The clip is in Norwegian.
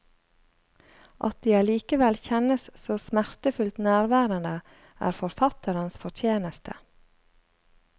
At de allikevel kjennes så smertefullt nærværende, er forfatterens fortjeneste.